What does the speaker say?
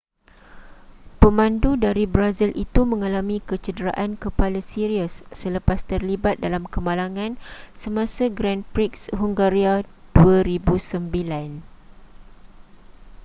pemandu dari brazil itu mengalami kecederaan kepala serius selepas terlibat dalam kemalangan semasa grand prix hungaria 2009